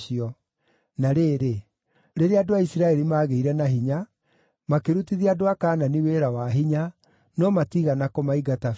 Na rĩrĩ, rĩrĩa andũ a Isiraeli maagĩire na hinya, makĩrutithia andũ a Kaanani wĩra wa hinya, no matiigana kũmaingata biũ.